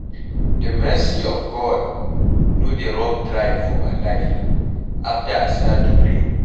The mercy of God no dey rub dry for my life after I start to pray